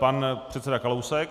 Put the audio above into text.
Pan předseda Kalousek.